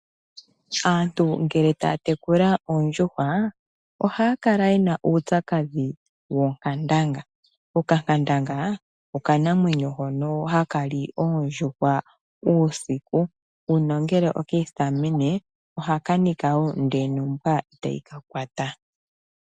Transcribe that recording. Aantu ngele taya tekula oondjuhwa ohaya kala yena uupyakadhi woonkandanga. Okankandanga okanamwenyo hono haka li oondjuhwa uusiku nongele oki isitamene ohaka nika wo ndele nombwa tayi ka kwata.